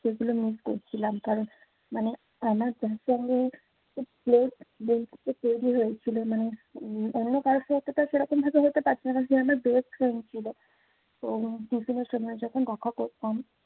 সেগুলো miss করছিলাম। কারণ, মানে আমার হয়েছিল। মানে অন্য কারো সঙ্গে অতটা সেরকমভাবে হতে আমার best friend ছিল। তো tiffin এর সময় যখন করতাম।